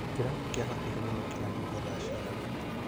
Kĩrabu kĩa hakuhĩ mũno kĩrahingwo thaa cigana?